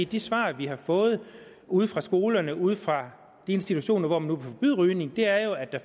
de svar vi har fået ude fra skolerne ude fra de institutioner hvor man nu kan forbyde rygning er jo at der